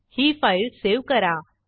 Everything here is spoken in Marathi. ही फाईल सेव्ह करा